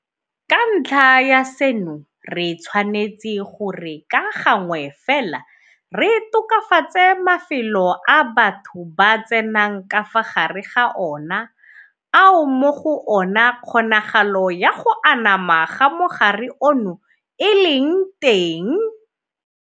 Ka ntlha ya seno re tshwanetse gore ka gangwe fela re tokafatse mafelo a batho ba tsenang ka fa gare ga ona ao mo go ona kgonagalo ya go anama ga mogare ono e leng teng.